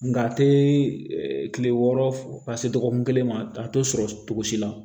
Nga a te kile wɔɔrɔ fo ka se dɔgɔkun kelen ma a te sɔrɔ cogo si la